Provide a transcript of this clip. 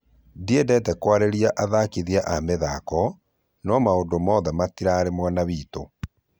Ndiendete kũarĩrĩria athakithia a mithako , no maũndo mothe matirarĩ mwena witũ